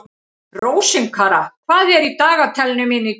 Rósinkara, hvað er í dagatalinu mínu í dag?